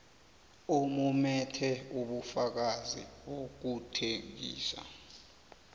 omumethe ubufakazi bokuthengisa